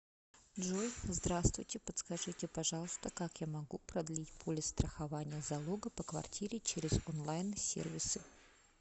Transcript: джой здравствуйте подскажите пожалуйста как я могу продлить полис страхования залога по квартире через он лайн сервисы